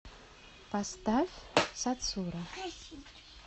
поставь сацура